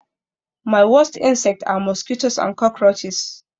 My worst insects are mosquitoes and cockroaches